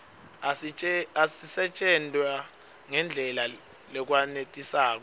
asisetjentwa ngendlela lekwenetisako